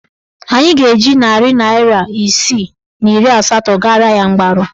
Anyị ga-eji narị naịra isii na iri asatọ gara ya mgbaru.